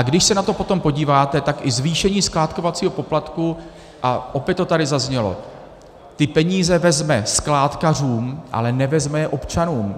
A když se na to potom podíváte, tak i zvýšení skládkovacího poplatku, a opět to tady zaznělo - ty peníze vezme skládkařům, ale nevezme je občanům.